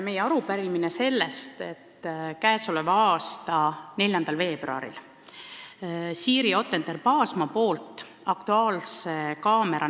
Meie arupärimine tulenes sellest, et 4. veebruaril rääkis Siiri Ottender-Paasma saates "Aktuaalne kaamera.